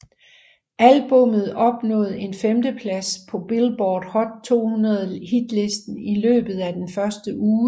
Albummet opnåede en 5 plads på Billboard Hot 200 hitlisten i løbet af den første uge